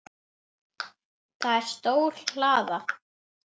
Það er stór hlaða.